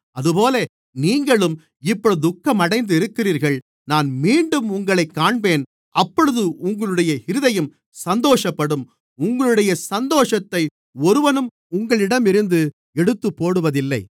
அதுபோல நீங்களும் இப்பொழுது துக்கமடைந்து இருக்கிறீர்கள் நான் மீண்டும் உங்களைக் காண்பேன் அப்பொழுது உங்களுடைய இருதயம் சந்தோஷப்படும் உங்களுடைய சந்தோஷத்தை ஒருவனும் உங்களிடமிருந்து எடுத்துப்போடுவதில்லை